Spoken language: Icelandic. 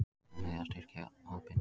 Ég reikna með því að styrkja hópinn.